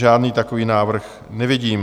Žádný takový návrh nevidím.